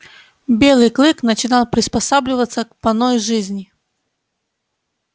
белый клык начинал приспосабливаться к поной жизни